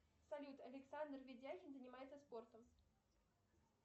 салют александр ведяхин занимается спортом